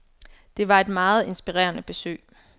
Det var et meget inspirerende besøg.